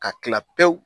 Ka kila pewu